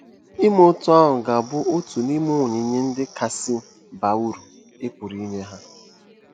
Ime otú ahụ ga-abụ otu n’ime onyinye ndị kasị baa uru ị pụrụ inye ha.